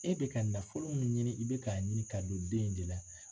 E bɛ ka ka nafolo min ɲini i bɛ k'a ɲini ka don den in de la